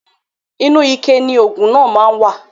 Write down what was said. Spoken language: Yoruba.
Inu ike ni oògùn náà má wà